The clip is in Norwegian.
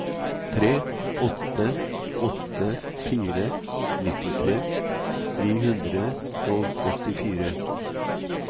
tre åtte åtte fire nittitre ni hundre og åttifire